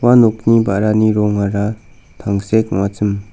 ua nokni ba·rani rongara tangsek ong·achim.